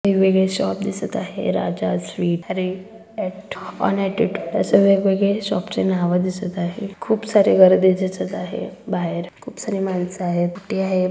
वेगवेगळे शॉप दिसत आहे राजा स्वीट्स कॅरि एट असे वेगवेगळे शॉपचे नाव दिसत आहे खूप सारे गर्दी दिसत आहे बाहेर सगळी मानस आहेत.